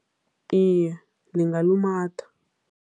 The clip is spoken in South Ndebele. Iye, lingalumatha.